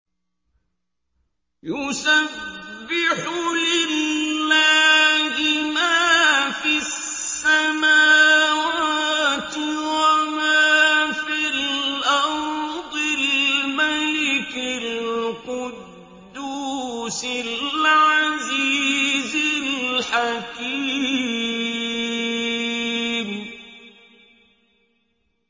يُسَبِّحُ لِلَّهِ مَا فِي السَّمَاوَاتِ وَمَا فِي الْأَرْضِ الْمَلِكِ الْقُدُّوسِ الْعَزِيزِ الْحَكِيمِ